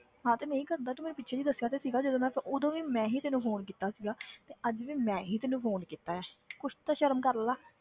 ਹਾਂ ਤੇ ਨਹੀਂ ਕਰਦਾ ਤੂੰ ਮੈਨੂੰ ਪਿੱਛੇ ਜਿਹੇ ਦੱਸਿਆ ਤਾਂ ਸੀਗਾ ਜਦੋਂ ਮੈਂ ਉਦੋਂ ਵੀ ਮੈਂ ਹੀ ਤੈਨੂੰ phone ਕੀਤਾ ਸੀਗਾ ਤੇ ਅੱਜ ਵੀ ਮੈਂ ਹੀ ਤੈਨੂੰ phone ਕੀਤਾ ਹੈ ਕੁਛ ਤੇ ਸ਼ਰਮ ਕਰ ਲਾ।